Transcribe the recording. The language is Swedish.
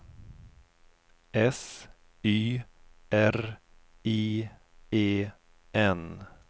S Y R I E N